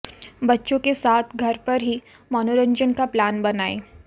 बच्चों के साथ घर पर ही मनोरंजन का प्लान बनाए